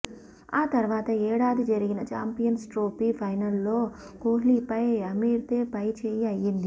ఆ తర్వాత ఏడాది జరిగిన చాంపియన్స్ ట్రోఫీ ఫైనల్లో కోహ్లిపై అమిర్దే పైచేయి అయ్యింది